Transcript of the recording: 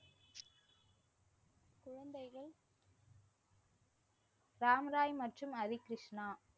ராம்ராய் மற்றும் ஹரிக்ருஷ்ணா.